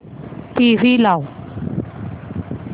TV लाव